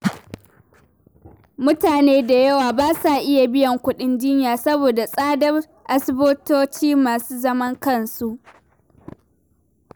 Mutane da yawa ba sa iya biyan kuɗin jinya saboda tsadar asibitoci masu zaman kansu.